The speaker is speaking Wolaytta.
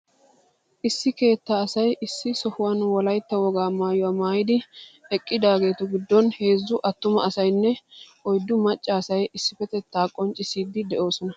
Issi keettaa asay issi sohuwan wolaytta wogaa maayuwa maayidi eqqidaageetu giddon heezzu attuma asaynne oyddu macca asay issippetettaa qonccissiidi de'oosona.